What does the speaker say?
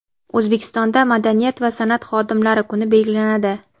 O‘zbekistonda madaniyat va san’at xodimlari kuni belgilanadi.